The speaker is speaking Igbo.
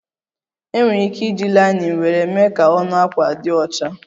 Enwere ike iji linen nwere mee ka ọnụ akwa di ọcha